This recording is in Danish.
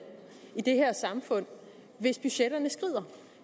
i det her samfund hvis budgetterne skrider